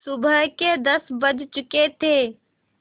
सुबह के दस बज चुके थे